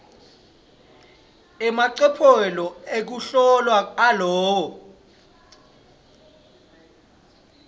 emacophelo ekuhlola alowo